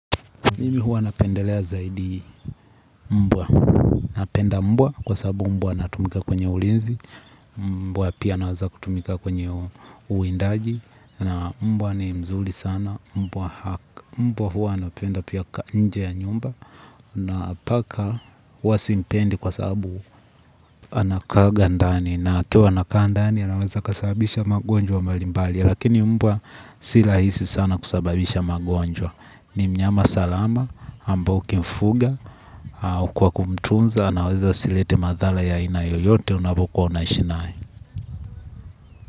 Mimi huwa napendelea zaidi mbwa, napenda mbwa kwa sababu mbwa anatumika kwenye ulinzi, mbwa pia anaweza kutumika kwenye uwindaji, na mbwa ni mzuri sana, mbwa hak, mbwa huwa anapenda pia kukaa nje ya nyumba, na paka huwa simpendi kwa sababu anakaaga ndani, na akiwa anakaa ndani anaweza kasababisha magonjwa mbalimbali, lakini mbwa si rahisi sana kusababisha magonjwa, ni mnyama salama ambaye ukimfuga kwa kumtunza anaweza asilete madhara ya aina yoyote unapokuwa unaishi nae.